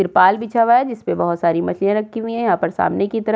त्रिपाल बिछा हुआ है जिसपे बहोत सारी मछलियां रखी हुई है। यहां पर सामने की तरफ --